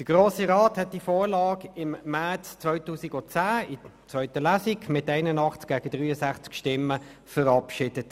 Der Grosse Rat hatte die Vorlage im März 2010 in zweiter Lesung mit 81 gegen 63 Stimmen verabschiedet.